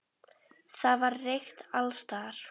Það var reykt alls staðar.